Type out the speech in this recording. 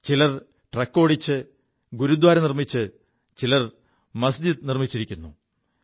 ചിലർ ട്രക്ക് ഓടിച്ച് ഗുരുദ്വാര നിർമ്മിച്ചിരിക്കുു ചിലർ മസ്ജിത് നിർമ്മിച്ചിരിക്കുു